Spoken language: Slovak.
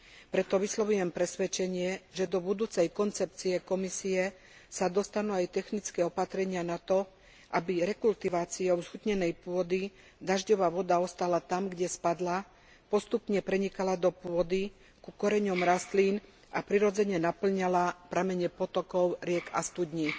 Preto vyslovujem presvedčenie, že do budúcej koncepcie Komisie sa dostanú aj technické opatrenia na to, aby rekultiváciou zhutnenej pôdy dažďová voda ostala tam, kde spadla, postupne prenikala do pôdy, ku koreňom rastlín a prirodzene napĺňala pramene potokov, riek a studní.